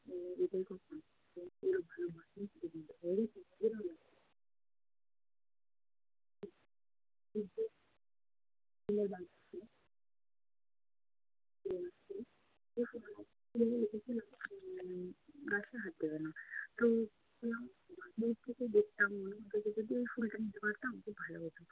গাছে হাত দেবে না, তো দূর থেকে দেখতাম, মনে হতো যে যদি ওই ফুলটা নিতে পারতাম খুব ভালো হতো।